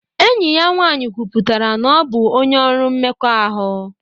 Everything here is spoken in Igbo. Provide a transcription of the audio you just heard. Enyi ya nwanyị kwuputara na ọ bụ onye ọrụ mmekọahụ